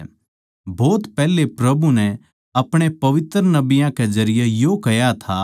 भोत पैहले प्रभु नै अपणे पवित्र नबियाँ कै जरिये यो कह्या था के वो हमनै दुश्मनां तै बचावैगा अर मेरे तै नफरत करण आळे की ताकत तै भी हमनै बचावैगा